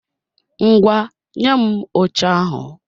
Ngwá, nye m oche ahụ!